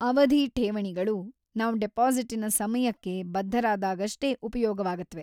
ಅವಧಿಕ ಠೇವಣಿಗಳು ನಾವ್‌ ಡಿಪಾಸಿಟಿನ ಸಮಯಕ್ಕೆ ಬದ್ಧರಾದಾಗಷ್ಟೇ ಉಪಯೋಗವಾಗತ್ವೆ.